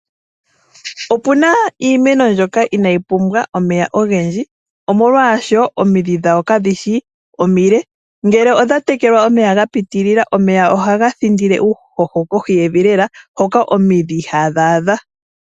Opuna iimeno mbyoka inayi pumbwa omeya ogendji, molwashoka omidhi dhayo kadhi shi omile, ngele odha tekelwa omeya ga pitilila omeya ohaga thindile uuhoho kohi yevi lela hoka omidhi ihadhi adha.